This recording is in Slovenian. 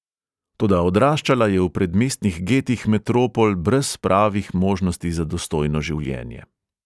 Toda odraščala je v predmestnih getih metropol brez pravih možnosti za dostojno življenje.